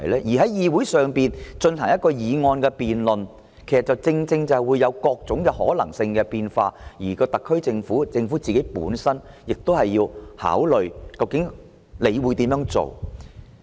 在議會進行議案辯論，正正會產生各種可能性和變數，特區政府亦要考慮如何回應。